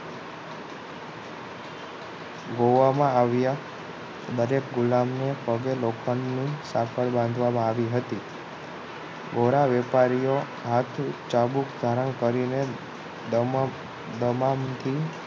જોવામાં આવ્યા દરેક ગુલામ ને પગે લોખંડ ની સાંકળ બાંધવામાં આવી હતી ધોરા વેપારીઓ હાથે ચાબુક ધારણ કરીને દમ દમામ થી